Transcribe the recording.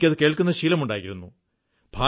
എനിക്കതു കേൾക്കുന്ന ശീലമുണ്ടായിരുന്നു